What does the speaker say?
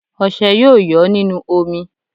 Ọṣẹ́ yóò yọ́ nínú omi